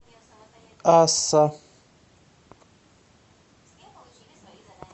асса